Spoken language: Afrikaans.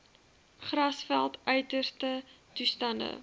grasveld uiterste toestande